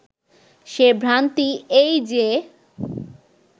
সে ভ্রান্তি এই যে